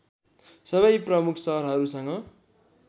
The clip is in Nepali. सबै प्रमुख सहरहरूसँग